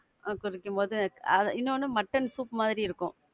அத குடிக்கும்போது, ஆஹ் இன்னொன்னு mutton soup மாரி இருக்கும்.